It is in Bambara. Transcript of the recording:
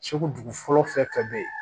Segu dugu fɔlɔ fɛn fɛn bɛ yen